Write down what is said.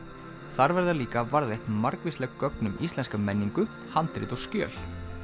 þar verða líka varðveitt margvísleg gögn um íslenska menningu handrit og skjöl